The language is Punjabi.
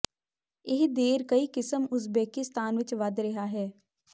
ਇਹ ਦੇਰ ਕਈ ਕਿਸਮ ਉਜ਼ਬੇਕਿਸਤਾਨ ਵਿੱਚ ਵਧ ਰਿਹਾ ਹੈ